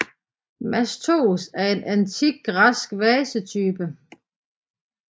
Mastos er en antik græsk vasetype